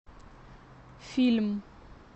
фильм